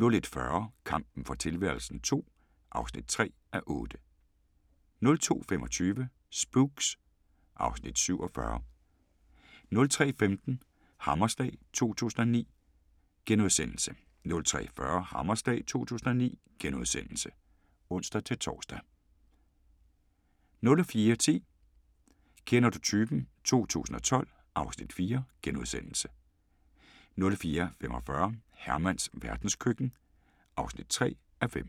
01:40: Kampen for tilværelsen II (3:8) 02:25: Spooks (Afs. 47) 03:15: Hammerslag 2009 * 03:40: Hammerslag 2009 *(ons-tor) 04:10: Kender du typen? 2012 (Afs. 4)* 04:45: Hermans verdenskøkken (3:5)